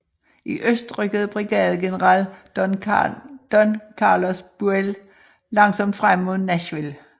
I øst rykkede brigadegeneral Don Carlos Buell langsomt frem mod Nashville